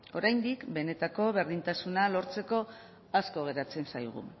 oraindik benetako berdintasuna lortzeko asko geratzen zaigu